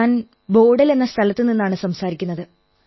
ഞാൻ ബോഡൽ എന്ന സ്ഥലത്തുനിന്നാണു സംസാരിക്കുന്നത്